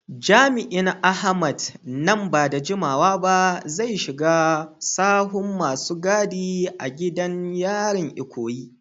Jami’in Ahmed, nan ba da jimawa ba zai shiga sahun masu gadi a gidan yarin Ikoyi.